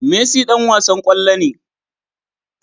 Messi Dan wasan kwallo ne